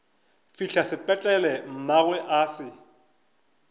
fihla sepetlele mmagwe a se